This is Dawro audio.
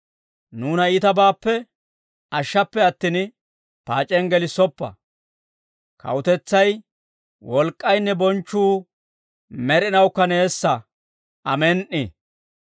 Nuuna iitabaappe ashshappe attin, paac'iyaan gelissoppa. Kawutetsay, wolk'k'aynne bonchchuu med'inawukka neessa. Amen"i.›